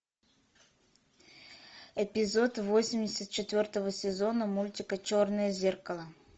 эпизод восемьдесят четвертого сезона мультика черное зеркало